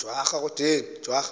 ujwara